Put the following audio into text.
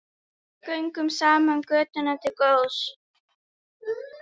Göngum saman götuna til góðs.